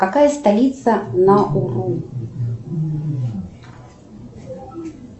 какая столица науру